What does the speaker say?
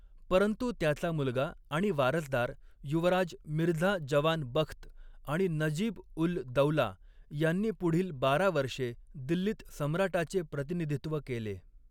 परंतु त्याचा मुलगा आणि वारसदार युवराज मिर्झा जवान बख्त आणि नजीब उल दौला यांनी पुढील बारा वर्षे दिल्लीत सम्राटाचे प्रतिनिधित्व केले.